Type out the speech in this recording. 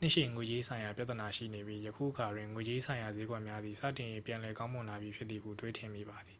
နှစ်ရှည် ငွေကြေးဆိုင်ရာ ပြဿနာရှိနေပြီး ယခုအခါတွင် ငွေကြေးဆိုင်ရာစျေးကွက်များသည် စတင်၍ ပြန်လည်ကောင်းမွန်လာပြီဖြစ်သည်ဟု တွေးထင်မိပါသည်